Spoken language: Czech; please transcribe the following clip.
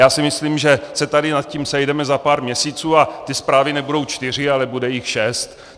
Já si myslím, že se tady nad tím sejdeme za pár měsíců a ty zprávy nebudou čtyři, ale bude jich šest.